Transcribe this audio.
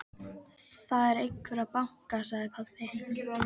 Það er einhver að banka, sagði pabbi.